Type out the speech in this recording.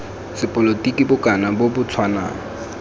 sepolotiki bokana bo bo tshwanang